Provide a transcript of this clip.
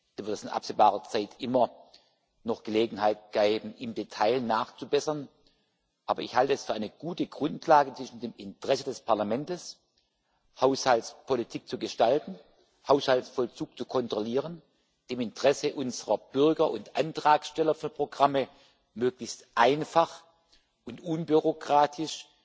Da wird es in absehbarer Zeit immer noch Gelegenheit geben, im Detail nachzubessern. Aber ich halte es für eine gute Grundlage zwischen dem Interesse des Parlamentes, Haushaltspolitik zu gestalten, Haushaltsvollzug zu kontrollieren, dem Interesse unserer Bürger und Antragsteller für Programme, möglichst einfach und unbürokratisch